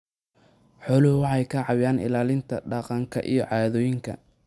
Xooluhu waxay caawiyaan ilaalinta dhaqanka iyo caadooyinka.